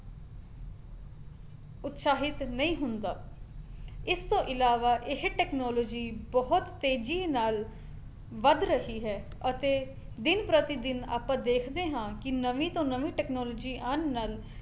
ਉਤਸ਼ਾਹਿਤ ਨਹੀਂ ਹੁੰਦਾ ਇਸਤੋਂ ਇਲਾਵਾ ਇਹ technology ਬਹੁਤ ਤੇਜੀ ਨਾਲ ਵੱਧ ਰਹੀ ਹੈ ਅਤੇ ਦਿਨ ਪ੍ਰਤੀਦਿਨ ਆਪਾਂ ਦੇਖਦੇ ਹਾਂ ਕੀ ਨਵੀਂ ਤੋਂ ਨਵੀਂ technology ਆਉਣ ਨਾਲ